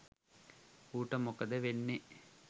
ඌට මොකද වෙන්නේ